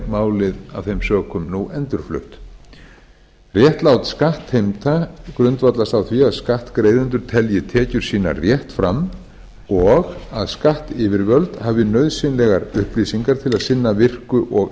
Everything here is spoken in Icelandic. málið af þeim sökum nú endurflutt réttlát skattheimta grundvallast á því að skattgreiðendur telji tekjur sínar rétt fram og að skattyfirvöld hafi nauðsynlegar upplýsingar til að sinna virku og